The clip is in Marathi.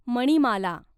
मणिमाला